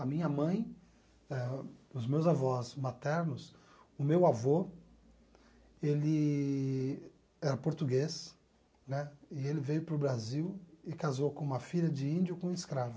A minha mãe eh, os meus avós maternos, o meu avô, ele era português, né, e ele veio para o Brasil e casou com uma filha de índio com um escravo.